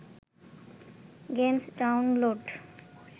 games download